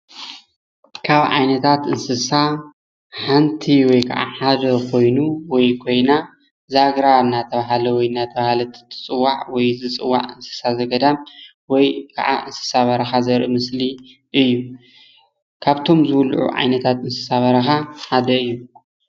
ካብ ዓይነታታት እንስሳ ሓንቲ ወይ ከዓ ሓደ ኾይኑ ወይ ኮይና ዛግራ እናተባለ ወይ ና እናተባህላት ዝፅዋዕ ወይ እትፅዋዕ እንስሳ ት ዘ ገዳም ወይ ከዓ እንስሳ ት በረኻ ዘርኢ ምስሊ እዮ ኻፍቶም ዝብልዑ እንስሳ ሓደ እዩ።